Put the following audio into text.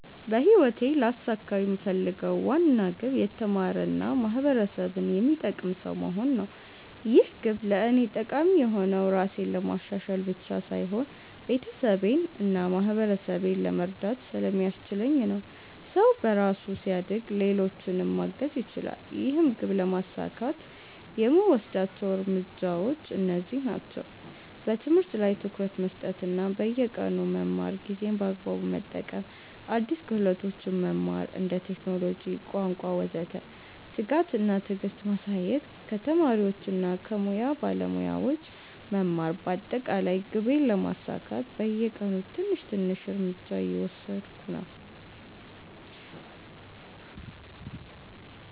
በህይወቴ ልያሳካው የምፈልገው ዋና ግብ የተማረ እና ማህበረሰብን የሚጠቅም ሰው መሆን ነው። ይህ ግብ ለእኔ ጠቃሚ የሆነው ራሴን ለማሻሻል ብቻ ሳይሆን ቤተሰቤን እና ማህበረሰቤን ለመርዳት ስለሚያስችለኝ ነው። ሰው በራሱ ሲያድግ ሌሎችንም ማገዝ ይችላል። ይህን ግብ ለማሳካት የምወስዳቸው እርምጃዎች እነዚህ ናቸው፦ በትምህርት ላይ ትኩረት መስጠት እና በየቀኑ መማር ጊዜን በአግባቡ መጠቀም አዲስ ክህሎቶች መማር (ቴክኖሎጂ፣ ቋንቋ ወዘተ) ትጋት እና ትዕግስት ማሳየት ከተማሪዎች እና ከሙያ ባለሞያዎች መማር በአጠቃላይ ግቤን ለማሳካት በየቀኑ ትንሽ ትንሽ እርምጃ እየወሰድሁ ነኝ።